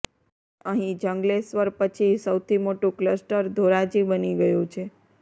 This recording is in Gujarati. અહીં જંગલેશ્વર પછી સૌથી મોટું ક્લસ્ટર ધોરાજી બની ગયું છે